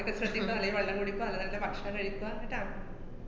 ~ക്കെ ശ്രദ്ധിക്ക, അല്ലെങ്കി വെള്ളം കുടിക്ക നല്ല നല്ല ഭക്ഷണം കഴിക്കുക, ക്ട്ടാ?